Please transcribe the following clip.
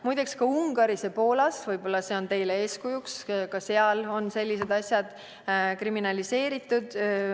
Muide, ka Ungaris ja Poolas – võib-olla see on teile eeskujuks – on sellised asjad kriminaliseeritud.